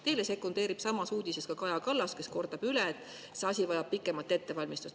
" Teile sekundeerib samas uudises ka Kaja Kallas, kes kordab, et see asi vajab pikemat ettevalmistust.